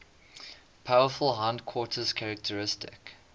powerful hindquarters characteristic